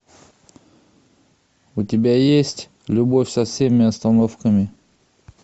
у тебя есть любовь со всеми остановками